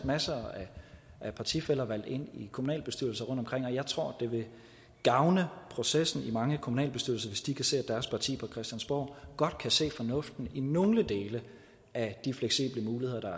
masser af partifæller valgt ind i kommunalbestyrelser rundtomkring og jeg tror det vil gavne processen i mange kommunalbestyrelser hvis de kan se at deres parti på christiansborg godt kan se fornuften i nogle dele af de fleksible muligheder der